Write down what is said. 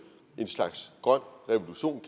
en slags grøn revolution